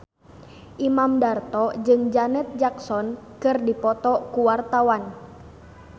Imam Darto jeung Janet Jackson keur dipoto ku wartawan